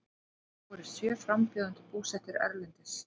Þá eru sjö frambjóðendur búsettir erlendis